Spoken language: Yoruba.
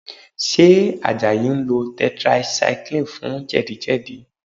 Ṣé Àjàyí ń lo tetracycline fún jẹ̀díjẹ̀dí?